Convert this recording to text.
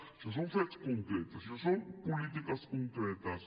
això són fets concrets això són polítiques concretes